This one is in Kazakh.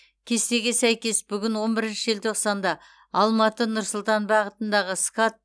кестеге сәйкес бүгін он бірінші желтоқсанда алматы нұр сұлтан бағытындағы скат